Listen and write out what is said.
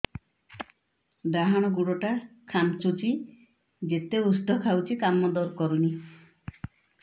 ଡାହାଣ ଗୁଡ଼ ଟା ଖାନ୍ଚୁଚି ଯେତେ ଉଷ୍ଧ ଖାଉଛି କାମ କରୁନି